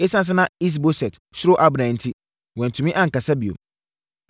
Esiane sɛ na Is-Boset suro Abner enti, wantumi ankasa bio.